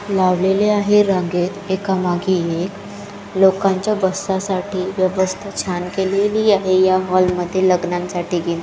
लावलेले आहे रांगेत एकामागे एक लोकांच्या बसण्यासाठी व्यवस्था छान केलेली आहे या हॉलमध्ये लग्नासाठी --